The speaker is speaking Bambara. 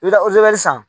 I bɛ taa san